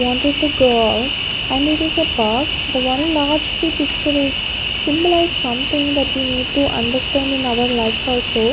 Wanted to go out and it is a park. the one large tree picture is symbolize something that we need to understand in our lives also.